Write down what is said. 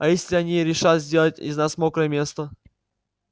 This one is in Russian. а если они решат сделать из нас мокрое место